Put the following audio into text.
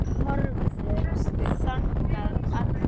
Þær horfðu þangað allar.